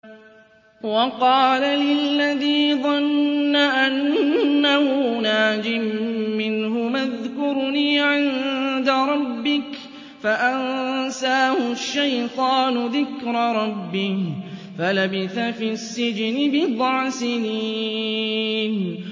وَقَالَ لِلَّذِي ظَنَّ أَنَّهُ نَاجٍ مِّنْهُمَا اذْكُرْنِي عِندَ رَبِّكَ فَأَنسَاهُ الشَّيْطَانُ ذِكْرَ رَبِّهِ فَلَبِثَ فِي السِّجْنِ بِضْعَ سِنِينَ